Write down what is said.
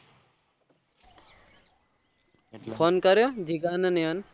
phone કર્યો જીગા ને નેહાન ને